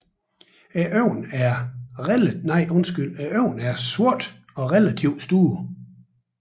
Øjnene er sorte og relativt store